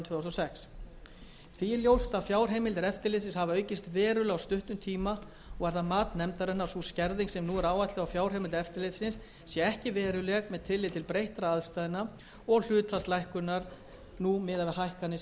sex því er ljóst að fjárheimildir eftirlitsins hafa aukist verulega á stuttum tíma og er það mat nefndarinnar að sú skerðing sem nú er áætluð á fjárheimildum eftirlitsins sé ekki veruleg með tilliti til breyttra aðstæðna og hlutfalls lækkunarinnar nú miðað við hækkanir